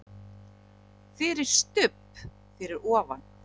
FYRIR STUBB fyrir ofan.